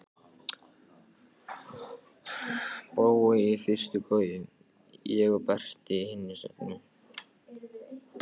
Brói í fyrstu koju, ég og Berti í hinu settinu.